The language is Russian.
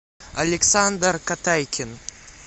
александр катайкин